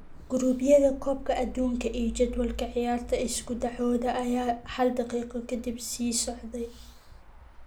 Guruubyada Koobka Adduunka iyo jadwalka ciyaarta Isku dhacooda ayaa hal daqiiqo ka dib sii socday.